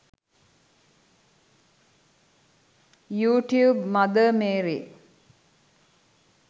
you tube mother Mary